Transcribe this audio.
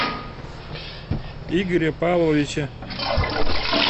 игоря павловича